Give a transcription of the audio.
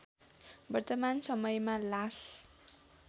वर्तमान समयमा लास